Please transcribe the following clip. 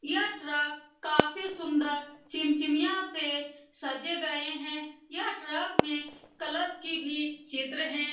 यह ट्रक काफी सुन्दर चिमचिमिया से सजे गये हैं यह ट्रक में कलश की भी चित्र है।